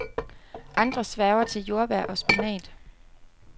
Andre sværger til jordbær og spinat.